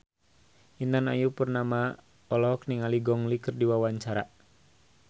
Intan Ayu Purnama olohok ningali Gong Li keur diwawancara